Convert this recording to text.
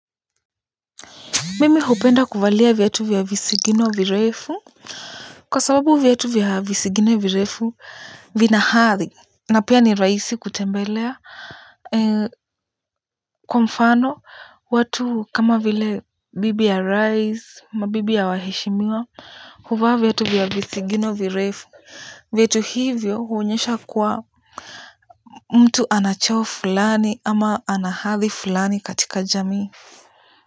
Mimi hupenda kuvalia viatu vya visigino virefu kwa sababu viatu vya visigino virefu vina hadhi na pia ni rahisi kutembela kwa mfano watu kama vile bibi ya rais ama bibi ya waheshimiwa huvaa viatu vya visigino virefu viatu hivyo huonyesha kuwa mtu ana cheo fulani ama ana hadhi fulani katika jamii.